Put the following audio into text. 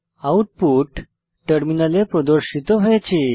output টার্মিনালে প্রদর্শিত হয়েছে